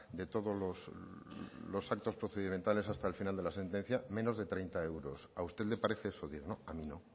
de todos los actos procedimentales hasta el final de la sentencia menos de treinta euros a usted le parece eso digno a mí no